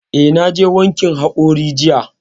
Eh, na je wankin haƙori jiya